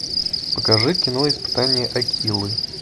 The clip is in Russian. покажи кино испытание акилы